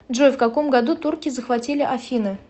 джой в каком году турки захватили афины